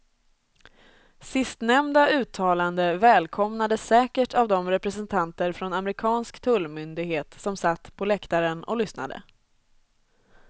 Sistnämnda uttalande välkomnades säkert av de representanter från amerikansk tullmyndighet som satt på läktaren och lyssnade.